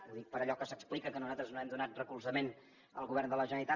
ho dic per allò que s’explica que nosaltres no hem donat recolzament al govern de la generalitat